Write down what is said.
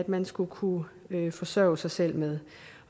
man skulle kunne forsørge sig selv med